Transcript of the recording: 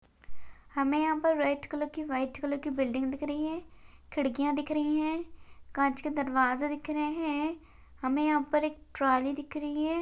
हमे यहा पर रेड कलर की व्हाइट कलर की बिल्डिंग दिख रही है। खिड़किया दिख रही है। काच के दरवाजे दिख रहे है। हमे यहा पर एक ट्रॉली दिख रही है|